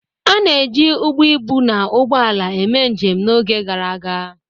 A na-eji ụgbọ ibu na ụgbọ ala eme njem n'oge gara aga.